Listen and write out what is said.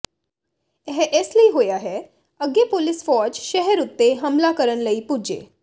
ਇਹ ਇਸ ਲਈ ਹੋਇਆ ਹੈ ਅੱਗੇ ਪੋਲਿਸ਼ ਫ਼ੌਜ ਸ਼ਹਿਰ ਉੱਤੇ ਹਮਲਾ ਕਰਨ ਲਈ ਪੁੱਜੇ